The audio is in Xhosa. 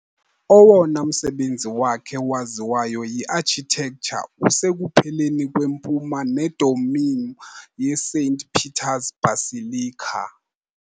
Owona msebenzi wakhe waziwayo yiarchitecture usekupheleni kwempuma nedomeem yeSaint Peter's Basilica.